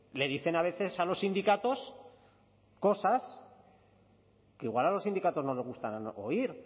les dicen a veces a los sindicatos cosas que igual a los sindicatos no les gusta oír